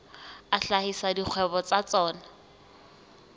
a hlahisa dikgwebo tsa tsona